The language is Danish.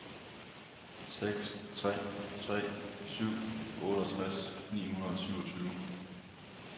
seks tre tre syv otteogtres ni hundrede og syvogtyve